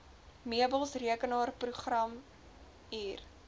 meubels rekenaarprogrammatuur